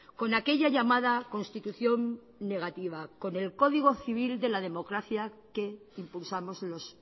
con aquella llamada constitución negativa con el código civil de la democracia que impulsamos los